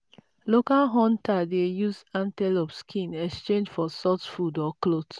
local hunter dey use antelope skin exchange for salt food or cloth.